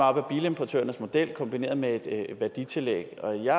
op ad bilimportørernes model kombineret med et værditillæg og jeg